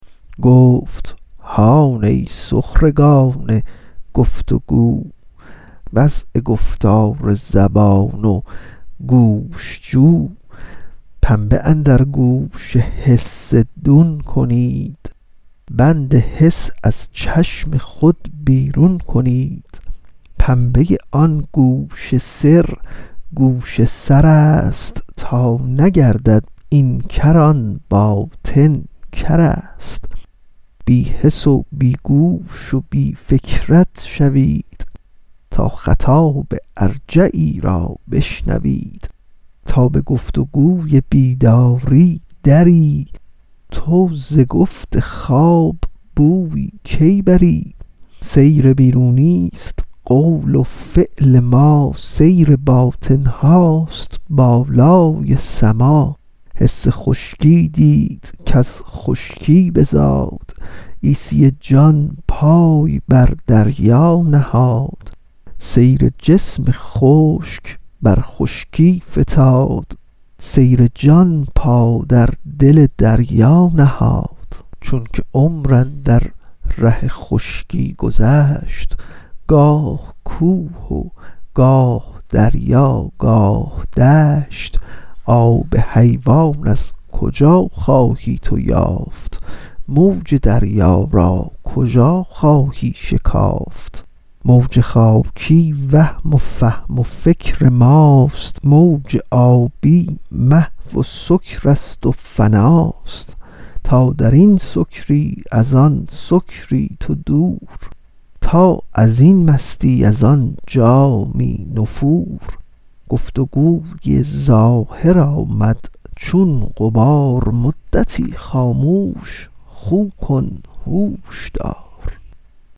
گفت هان ای سخرگان گفت و گو وعظ و گفتار زبان و گوش جو پنبه اندر گوش حس دون کنید بند حس از چشم خود بیرون کنید پنبه آن گوش سر گوش سرست تا نگردد این کر آن باطن کرست بی حس و بی گوش و بی فکرت شوید تا خطاب ارجعی را بشنوید تا به گفت و گوی بیداری دری تو زگفت خواب بویی کی بری سیر بیرونیست قول و فعل ما سیر باطن هست بالای سما حس خشکی دید کز خشکی بزاد عیسی جان پای بر دریا نهاد سیر جسم خشک بر خشکی فتاد سیر جان پا در دل دریا نهاد چونک عمر اندر ره خشکی گذشت گاه کوه و گاه دریا گاه دشت آب حیوان از کجا خواهی تو یافت موج دریا را کجا خواهی شکافت موج خاکی وهم و فهم و فکر ماست موج آبی محو و سکرست و فناست تا درین سکری از آن سکری تو دور تا ازین مستی از آن جامی نفور گفت و گوی ظاهر آمد چون غبار مدتی خاموش خو کن هوش دار